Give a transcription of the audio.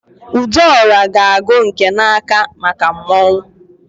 Udora g'agu nke na-aka maka mmọnwụ.